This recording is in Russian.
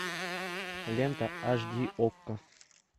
лента аш ди окко